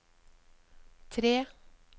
tre